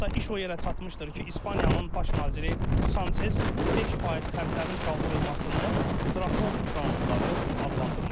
Hətta iş o yerə çatmışdır ki, İspaniyanın baş naziri Sançes 5% xərclərin qaldırılmasını drakon qanunları adlandırmışdı.